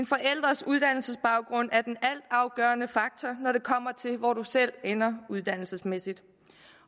forældres uddannelsesbaggrund er den altafgørende faktor når det kommer til hvor du selv ender uddannelsesmæssigt